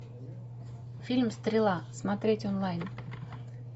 фильм стрела смотреть онлайн